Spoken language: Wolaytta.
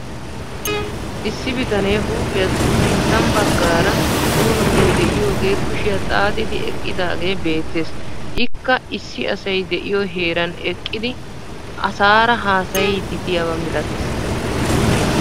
Issi bitanee huuphiyassi sinttan baggaara puulunttay de'iyoogee kushiya xaaxidi eqqidaagee beettes. Ikka issi asay de'iyo heeran eqqidi asaara haasayiiddi diyaba milates.